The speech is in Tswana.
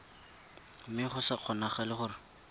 mme go sa kgonagale gore